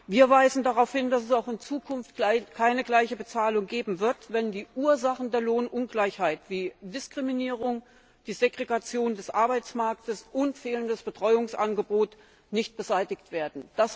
Wir weisen darauf hin, dass es auch in Zukunft keine gleiche Bezahlung geben wird, wenn die Ursachen der Lohnungleichheit wie Diskriminierung, die Segregation des Arbeitsmarktes und fehlendes Betreuungsangebot nicht beseitigt werden.